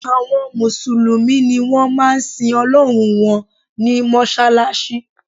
Àwọn mùsùlùmí ni wọ́n máa ń sin Ọlọ́run wọn ní mọ́ṣáláṣí